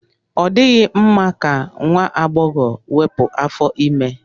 Ọ dịghị mma ka nwa agbọghọ wepụ afọ ime.